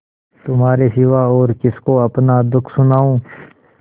तुम्हारे सिवा और किसको अपना दुःख सुनाऊँ